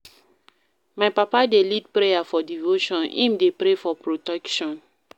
My papa dey lead prayer for devotion, im dey pray for protection.